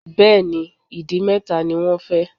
Bẹ́ẹ̀ni. Ìdì mẹ́ta ni wọ́n fẹ́